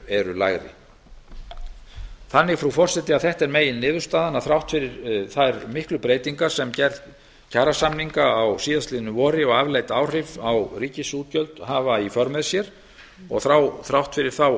eru lægri þannig frú forseti er þetta meginniðurstaðan þrátt fyrir þær miklu breytingar sem gerð kjarasamninga í fyrravor og afleidd áhrif á ríkisútgjöld hafa í för með sér og þrátt fyrir þá